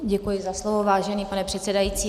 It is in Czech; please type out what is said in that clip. Děkuji za slovo, vážený pane předsedající.